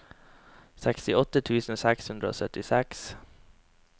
sekstiåtte tusen seks hundre og syttiseks